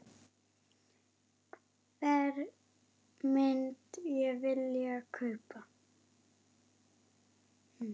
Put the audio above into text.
Hvern myndi ég vilja kaupa?